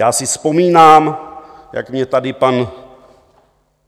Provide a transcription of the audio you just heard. Já si vzpomínám, jak mě tady pan